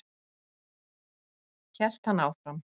Hélt hann áfram.